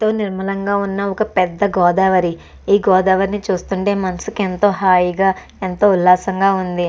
తో నిర్మలంగా ఉన్న ఒక పెద్ద గోదావరి ఈ గోదావరిని చూస్తుంటే మనసుకు ఎంతో హాయిగా ఎంతో ఉల్లాసంగా ఉంది.